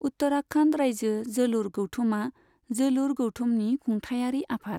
उत्तराखन्ड रायजो जोलुर गौथुमा जोलुर गौथुमनि खुंथायारि आफाद।